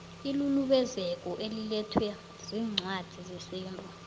ilulubezeko elilethwa ziincwadi zesintu